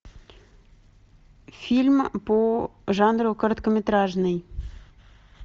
фильм по жанру короткометражный